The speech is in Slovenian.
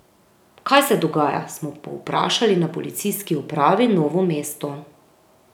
Kaj se dogaja, smo povprašali na Policijski upravi Novo mesto.